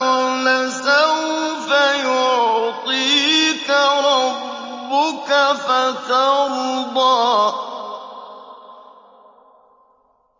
وَلَسَوْفَ يُعْطِيكَ رَبُّكَ فَتَرْضَىٰ